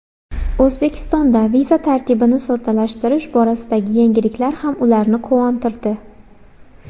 O‘zbekistonda viza tartibini soddalashtirish borasidagi yangiliklar ham ularni quvontirdi.